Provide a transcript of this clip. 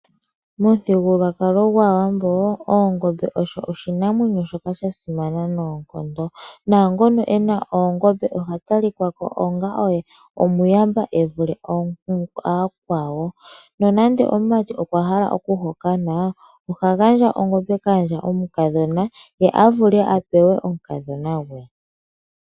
Momuthigululwakalo gwaawambo, oongombe osho oshinamwenyo shono sha simana unene noonkondo. Naangono ena oogombe oha talika ko onga gumwe ena uuuyamba evule yakwawo. No nande omumati ngele okwa hala okuhokana, oha gandja ongombe kaandja yomukadhona ye a vule apewe omukadhona gwe.